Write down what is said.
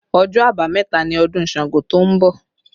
Ọjọ́ abameta ni ọdún Ṣàngó to ń bọ̀